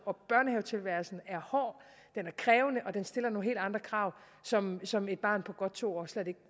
børnehavetilværelsen er hård den er krævende og den stiller nogle helt andre krav som som et barn på godt to